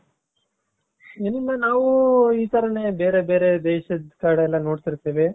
ಏನಂದ್ರೆ ನಾವು ಈ ತರಾನೇ ಬೇರೆ ಬೇರೆ ದೇಶದ ಕಡೆ ಎಲ್ಲಾ ನೋಡ್ತಿರ್ತೀವಿ.